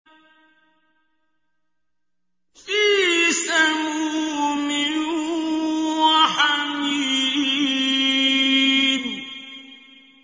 فِي سَمُومٍ وَحَمِيمٍ